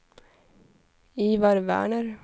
Ivar Werner